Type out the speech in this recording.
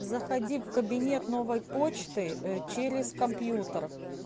заходи в кабинет новой почты через а компьютер